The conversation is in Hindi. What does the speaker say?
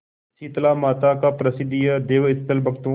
शीतलामाता का प्रसिद्ध यह देवस्थल भक्तों